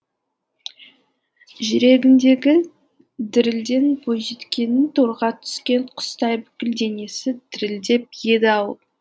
жүрегіндегі дірілден бойжеткеннің торға түскен құстай бүкіл денесі дірілдеп еді ау